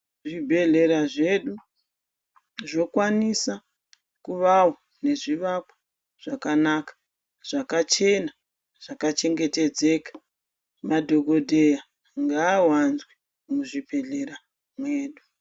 Zvibhedhlera zvedu zvokwanisa kuvawo nezvivakwa zvakanaka, zvakachena zvakachengetedzeka. Madhokodheya ngaawanzwe muzvibhedhlera mwedu.